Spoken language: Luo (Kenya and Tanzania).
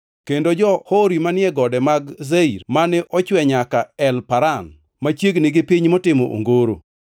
kendo jo-Hori manie gode mag Seir, mane ochwe nyaka El-Paran machiegni gi piny motimo ongoro.